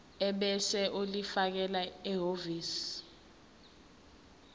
ebese ulifakela ehhovisi